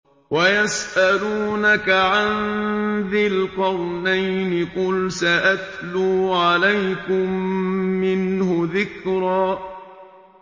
وَيَسْأَلُونَكَ عَن ذِي الْقَرْنَيْنِ ۖ قُلْ سَأَتْلُو عَلَيْكُم مِّنْهُ ذِكْرًا